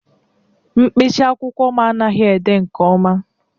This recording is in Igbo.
mkpịsị akwụkwọ m anaghị ede nke ọma